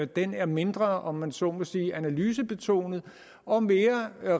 den er mindre om man så må sige analysebetonet og mere